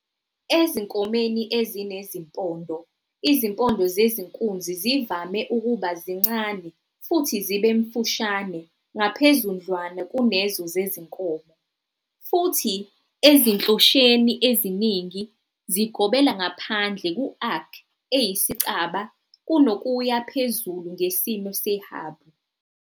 Ezinkomeni ezinezimpondo, izimpondo zezinkunzi zivame ukuba zincane futhi zibe mfushane ngaphezudlwana kunezo zezinkomo, futhi ezinhlotsheni eziningi, zigobela ngaphandle ku-arc eyisicaba kunokuya phezulu ngesimo sehabhu.